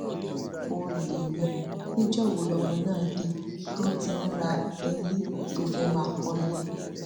ó lè ní níjọ wo lọmọ náà dé tó ti ń ra ilé tó fẹẹ máa kọlé